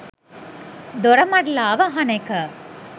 දොරමඩලාව අහන එක